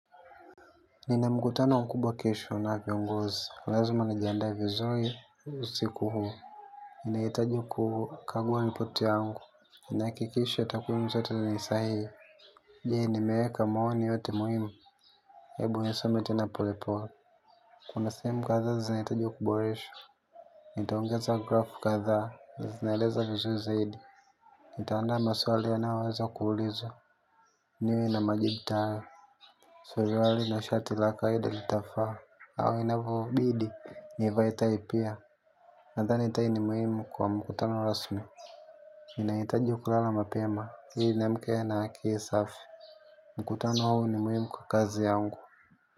Nina mkutano mkubwa kesho na viongozi. Lazima nijiandae vizuri usiku huu. Ninahitaji kukagua ripoti yangu. Nihakikishe takwimu zote ni sahihi. Je, nimeweka maoni yote muhimu? Ebu nisome tena polepole. Kuna sehemu kadhaa zinahitaji kuboreshwa. Nitaongeza grafu kadhaa, zinaeleza vizuri zaidi. Nitaandaa maswali yanayoweza kuulizwa. Niwe na majibu tayari. Surwali na shati la kawaida litafaa. Au inavyobidi nivae tai pia. Nadhani tai ni muhimu kwa mkutano rasmi. Nahitaji kulala mapema ili niamke na akili safi. Mkutano huo ni muhimu kwa kazi yangu.